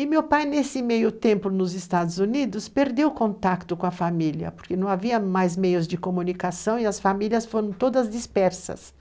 E meu pai, nesse meio tempo nos Estados Unidos, perdeu o contato com a família, porque não havia mais meios de comunicação e as famílias foram todas dispersas